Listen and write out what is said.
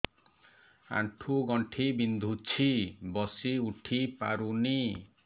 ଆଣ୍ଠୁ ଗଣ୍ଠି ବିନ୍ଧୁଛି ବସିଉଠି ପାରୁନି